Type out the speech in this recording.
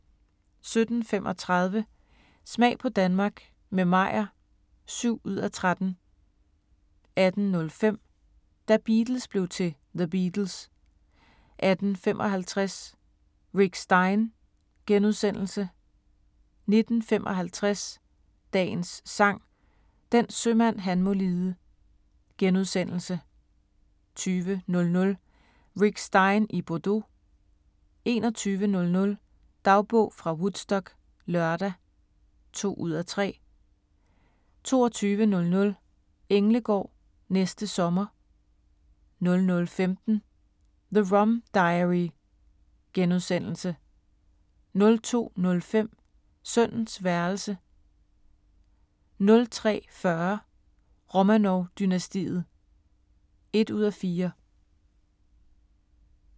17:35: Smag på Danmark – med Meyer (7:13) 18:05: Da Beatles blev til The Beatles 18:55: Rick Stein * 19:55: Dagens Sang: Den sømand han må lide * 20:00: Rick Stein i Bordeaux 21:00: Dagbog fra Woodstock - lørdag (2:3) 22:00: Englegård – næste sommer 00:15: The Rum Diary * 02:05: Sønnens værelse 03:40: Romanov-dynastiet (1:4)